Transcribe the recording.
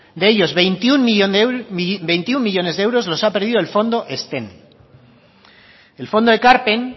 de ellos veintiuno millónes de euros los ha perdido el fondo ezten el fondo de ekarpen